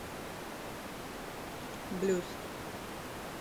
блюз